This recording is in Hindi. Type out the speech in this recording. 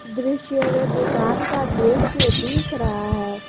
दृश्य में दुकान का दृश्य दिख रहा है।